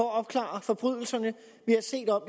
at opklare forbrydelserne